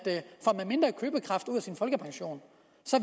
sin folkepension